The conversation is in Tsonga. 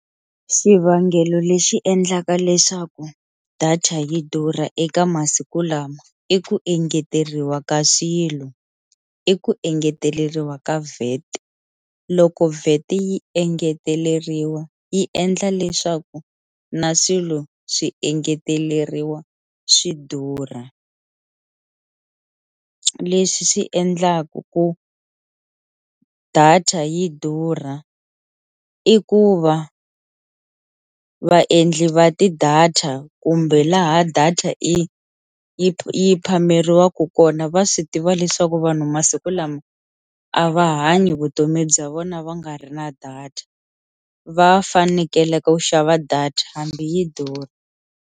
Xivangelo lexi endlaka leswaku data yi durha eka masiku lama i ku engeteriwa ka swilo i ku engeteleriwa ka VAT, loko VAT yi engeteleriwa yi endla leswaku na swilo swi engeteleriwa swi durha, leswi swi endlaku ku data yi durha i ku va vaendli va ti-data kumbe laha data yi yi yi phameriwaku kona va swi tiva leswaku vanhu masiku lama a va hanyi vutomi bya vona va nga ri na data va fanekele ku xava data hambi yi durha.